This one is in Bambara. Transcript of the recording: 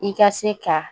I ka se ka